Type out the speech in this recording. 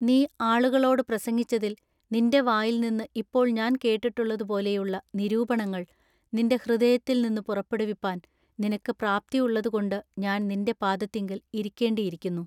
നീ ആളുകളോട് പ്രസംഗിച്ചതിൽ നിന്റെ വായിൽനിന്ന് ഇപ്പോൾ ഞാൻ കേട്ടിട്ടുള്ളതുപോലെയുള്ള നിരൂപണങ്ങൾ നിന്റെ ഹൃദയത്തിൽനിന്നു പുറപ്പെടുവിപ്പാൻ നിനക്ക് പ്രാപ്തിയുള്ളതുകൊണ്ട് ഞാൻ നിന്റെ പാദത്തിങ്കൽ ഇരിക്കെണ്ടിയിരിക്കുന്നു.